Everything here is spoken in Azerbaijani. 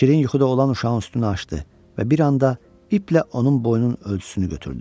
Şirin yuxuda olan uşağın üstünü açdı və bir anda iplə onun boynunun ölçüsünü götürdü.